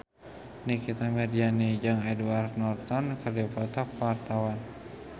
Nikita Mirzani jeung Edward Norton keur dipoto ku wartawan